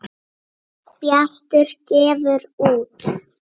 Bjartur gefur út